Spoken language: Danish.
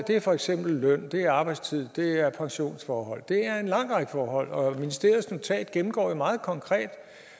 er for eksempel løn det er arbejdstid det er pensionsforhold det er en lang række forhold og ministeriets notat gennemgår jo meget konkret